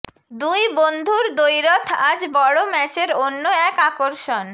দুই বন্ধুর দ্বৈরথ আজ বড় ম্যাচের অন্য এক আকর্ষণ